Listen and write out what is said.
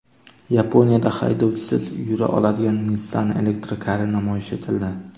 Yaponiyada haydovchisiz yura oladigan Nissan elektrokari namoyish etildi.